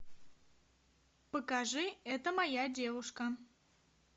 покажи это моя девушка